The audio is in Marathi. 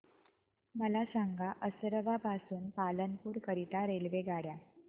मला सांगा असरवा पासून पालनपुर करीता रेल्वेगाड्या